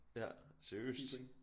Ja seriøst